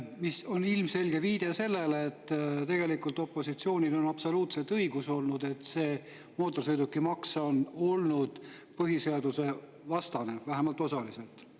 See on ilmselge viide sellele, et tegelikult opositsioonil on absoluutselt õigus olnud, et see mootorsõidukimaks on põhiseadusevastane, vähemalt osaliselt.